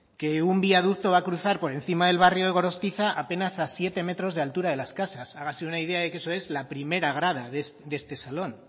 que un viaducto va a cruzar por encima del barrio de gorostiza apenas a siete metros de altura de las casas hágase una idea de que eso es la primera grada de este salón